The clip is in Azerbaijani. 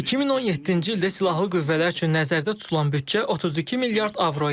2017-ci ildə silahlı qüvvələr üçün nəzərdə tutulan büdcə 32 milyard avro idi.